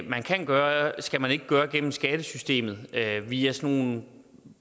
man kan gøre skal man ikke gøre gennem skattesystemet via nogle